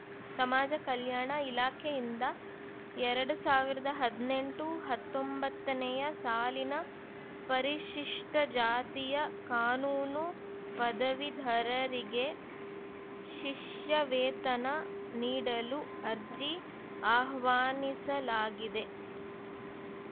ಸಮಾಜ ಕಲ್ಯಾಣ ಇಲಾಖೆಯಿಂದ ಎರಡ್ ಸಾವಿರದ ಹದಿನೆಂಟು ಹತ್ತೊಂಬತ್ತನೆಯ ಸಾಲಿನ ಪರಿಶಿಷ್ಟಜಾತಿಯ ಕಾನೂನು ಪದವೀಧರರಿಗೆ ಶಿಷ್ಯವೇತನ ನೀಡಲು ಅರ್ಜಿ ಆಹ್ವಾನಿಸಲಾಗಿದೆ